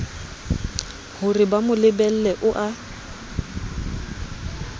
horeba mo lebelle o a